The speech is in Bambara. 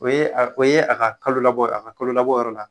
O ye a o ye a ka kalo labɔ a ka kalo labɔ yɔrɔ la